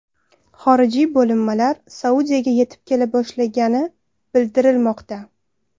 Xorijiy bo‘linmalar Saudiyaga yetib kela boshlagani bildirilmoqda.